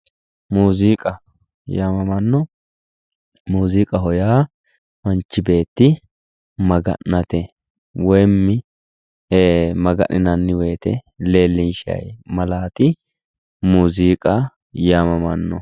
Muqiiza yaamamanno ,muziiqaho yaa manchi beetti Maga'nano woyte woyi maganinanni leelishanni malaati muziiqa yamamanno.